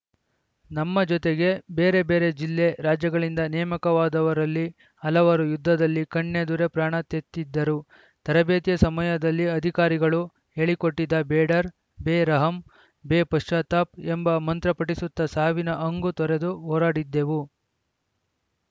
ನಮ್ಮ ಜೊತೆಗೆ ಬೇರೆ ಬೇರೆ ಜಿಲ್ಲೆ ರಾಜ್ಯಗಳಿಂದ ನೇಮಕವಾದವರಲ್ಲಿ ಹಲವರು ಯುದ್ಧದಲ್ಲಿ ಕಣ್ಣೆದುರೇ ಪ್ರಾಣತೆತ್ತಿದ್ದರು ತರಬೇತಿಯ ಸಮಯದಲ್ಲಿ ಅಧಿಕಾರಿಗಳು ಹೇಳಿಕೊಟ್ಟಿದ್ದ ಬೇಡರ್‌ ಬೇ ರಹಮ್‌ ಬೇ ಪಶ್ಚತಾವ್‌ ಎಂಬ ಮಂತ್ರ ಪಠಿಸುತ್ತ ಸಾವಿನ ಹಂಗು ತೊರೆದು ಹೋರಾಡಿದ್ದೆವು